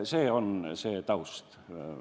See on see taust.